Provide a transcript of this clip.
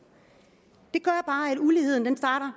det gør bare at uligheden starter